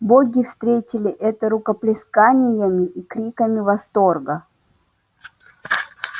боги встретили это рукоплесканиями и криками восторга